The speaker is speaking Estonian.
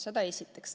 Seda esiteks.